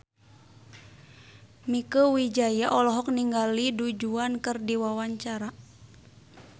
Mieke Wijaya olohok ningali Du Juan keur diwawancara